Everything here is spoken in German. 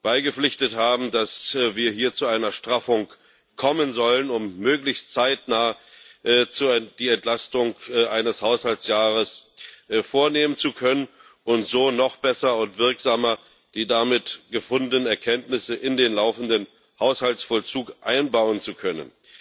beigepflichtet haben, dass wir hier zu einer Straffung kommen sollen, um möglichst zeitnah die Entlastung eines Haushaltsjahres vornehmen zu können und so noch besser und wirksamer die damit gefunden Erkenntnisse in den laufenden Haushaltsvollzug einbauen zu können.